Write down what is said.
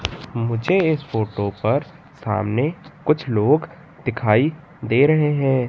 मुझे इस फोटो पर सामने कुछ लोग दिखाई दे रहे हैं।